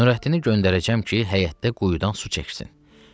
Nurəddini göndərəcəm ki, həyətdə quyudan su çəksin.